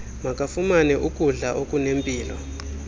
makafumane ukudla okunempilo